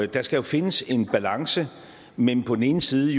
der skal findes en balance mellem på den ene side